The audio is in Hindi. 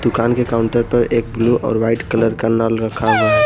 कान के काउंटर पर एक ब्लू और वाइट कलर का नल रखा हुआ है।